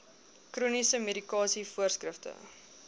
chroniese medikasie voorskrifte